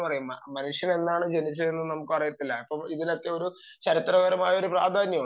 ഇപ്പം നമ്മൾ പറയും മനുഷ്യൻ എന്നാണ് ജനിച്ചത് എന്നു നമ്മൾക്ക് അറിയത്തില്ല അപ്പോൾ ഇതിനൊക്കെ ചരിത്രപരമായ പ്രാധാന്യം ഉണ്ട്